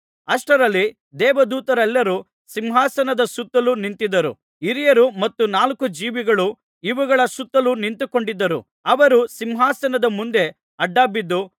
ಅಷ್ಟರಲ್ಲಿ ದೇವದೂತರೆಲ್ಲರೂ ಸಿಂಹಾಸನದ ಸುತ್ತಲು ನಿಂತಿದ್ದರು ಹಿರಿಯರು ಮತ್ತು ನಾಲ್ಕು ಜೀವಿಗಳು ಇವುಗಳ ಸುತ್ತಲೂ ನಿಂತುಕೊಂಡಿದ್ದರು ಅವರು ಸಿಂಹಾಸನದ ಮುಂದೆ ಅಡ್ಡಬಿದ್ದು